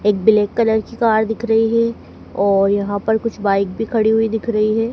एक black colour की car दिख रही है और यहां पर कुछ बाइक भी खड़ी हुई दिख रही है।